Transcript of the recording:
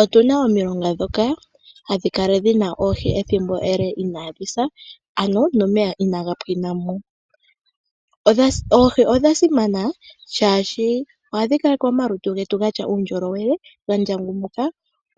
Otu na omilonga ndhoka hadhi kala dhi na oohi ethimbo ele inaa dhi sa, ano nomeya inaa ga pwina mo. Oohi odha simana, oshoka ohadhi kaleke omalutu getu gatya uundjolowele, ga ndjangumukwa,